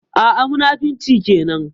A'a, munafunci kenan.